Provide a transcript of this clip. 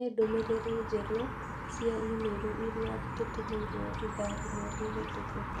ni ndũmĩrĩri njerũ cia i-mīrū iria tũtũmĩirũo ithaa rĩmwe rĩhitũku